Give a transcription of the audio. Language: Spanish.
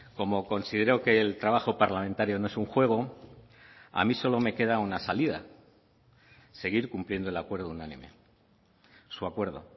como considero que el trabajo parlamentario no es un juego a mí solo me queda una salida seguir cumpliendo el acuerdo unánime su acuerdo